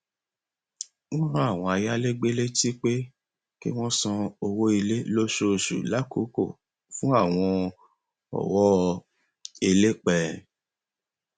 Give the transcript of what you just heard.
wọn rán àwọn ayálégbé létí pé kí wọn san owó ilé lóṣooṣù lákòókò fún àwọn ọwọ elépẹ